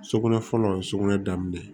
Sugunɛ fɔlɔ ye sugunɛ daminɛ